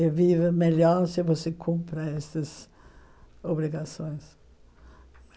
E vive melhor se você cumpre essas obrigações.